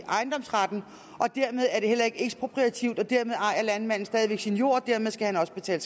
ejendomsretten og dermed er det heller ikke ekspropriativt og dermed ejer landmanden stadig sin jord og dermed skal han også betale